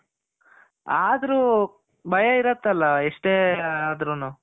ಆದ್ರು ಭಯ ಇರುತ್ತಲ ಎಷ್ಟೇ ಆದ್ರೂನು